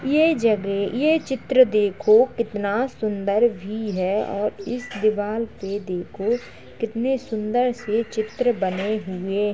ये जगह ये चित्र देखो कितना सुन्दर भी है और इस दिवाल पे देखो कितने सुंदर से चित्र बने हुए --